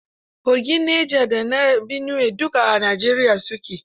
Kogin Neja da na Biniwe duk a Najeriya su ke.